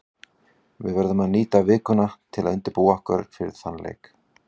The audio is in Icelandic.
Við verðum nýta vikuna til að undirbúa okkur fyrir þann leik.